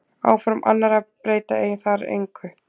Áform annarra breyta þar engu.